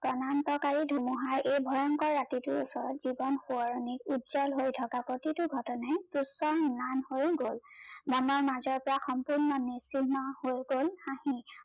প্ৰনান্তকাৰী ধুমুহাই এই ভয়ংকৰ ৰাতিটোৰ ওচৰত জীৱন সোৱৰনিক উজ্জ্বল হৈ থকা প্ৰতিটো ঘটনাই হৈ গল। নামৰ মাজৰ পৰা সম্পূৰ্ণ নিচিন্ন হৈ গল